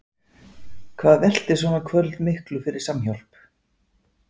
Hvað veltir svona kvöld miklu fyrir Samhjálp?